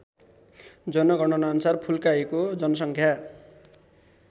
जनगणनाअनुसार फुल्काहीको जनसङ्ख्या